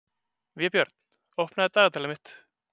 Vébjörn, opnaðu dagatalið mitt.